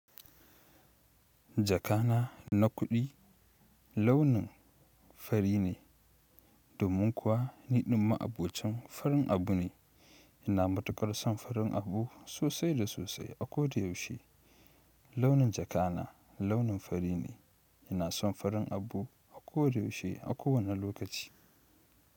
Jakana na kudi launin fari ne domin kuwa nidin maabocin farin abune ina matukar son farin abu sosai da sosai akoda yaushe. Launin jakana launin fari ne, yana son farin abu a ko da yaushe, a kowane lokaci.